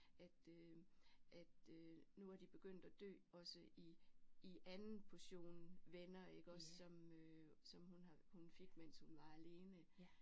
At øh at øh nu var de begyndt at dø også i i anden portion venner iggås som øh som hun har hun fik mens hun var alene